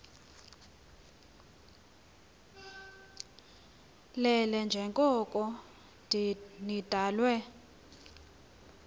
lelele njengoko nidalwe